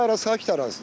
Bu ərazi sakit ərazidir.